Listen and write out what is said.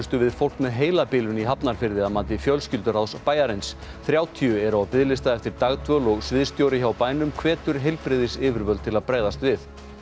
við fólk með heilabilun í Hafnarfirði að mati fjölskylduráðs bæjarins þrjátíu eru á biðlista eftir dagdvöl og sviðsstjóri hjá bænum hvetur heilbrigðisyfirvöld til að bregðast við